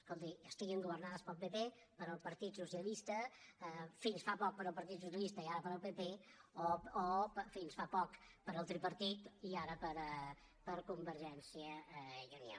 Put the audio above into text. escolti estiguin governades pel pp pel partit socialista fins fa poc pel partit socialista i ara pel pp o fins fa poc pel tripartit i ara per convergència i unió